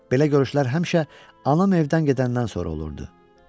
Belə görüşlər həmişə anam evdən gedəndən sonra olurdu.